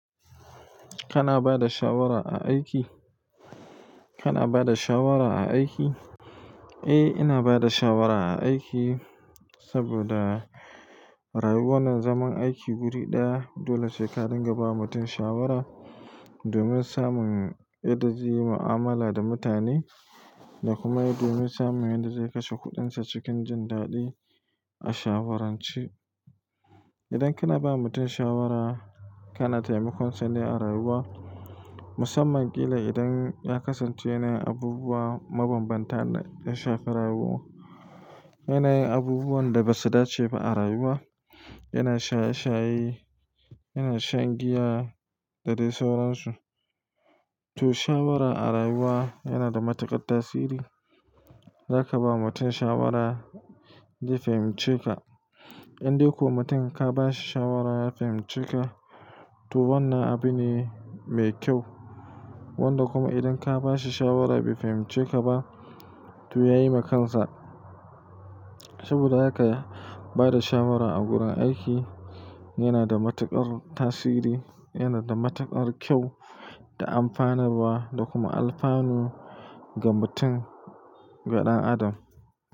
Kana bada shawara a aiki? Kana bada shawara a aiki? Eh, ina bada shawara a aiki saboda rayuwar nan zaman aiki guri ɗaya dole sai ka dinga bawa mutum shawara domin samun yadda zai yi ma'amala da mutane da kuma domin samun yadda zai kashe kuɗinsa cikin jin daɗi a shawaranci. Idan kana ba mutum shawara, kana taimakon sa ne a rayuwa, musamman killa idan ya kasance ne abubuwa mabambanta da shafi rayuwa. Yana yin abubuwan da ba su dace ba a rayuwa, yana shaye-shaye, yana shan giya da dai sauran su. To shawara a rayuwa yana da matuƙar tasiri. Zaka ba mutum shawara zai fahimce ka. In dai ko mutum ka ba shi shawara ya fahimce ka, to wannan abu ne mai kyau. Wanda kuma idan ka ba shi shawara bai fahimce ka ba, to ya yi ma kansa. Saboda haka ba da shawara a gurin aiki yana da matuƙar tasiri, yana da matuƙar kyau da amfaninwa da kuma alfanu ga mutum, ga ɗan adam.